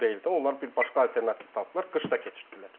Onlar bir başqa alternativ tapıblar, qış da keçirtdilər.